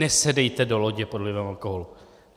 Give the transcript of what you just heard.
Nesedejte do lodě pod vlivem alkoholu.